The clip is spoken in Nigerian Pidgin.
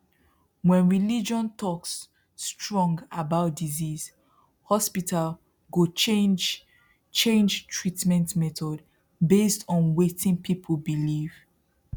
when religion talks strong about disease hospital go change change treatment method based on waiting people believe